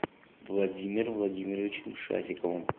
владимиром владимировичем шафиковым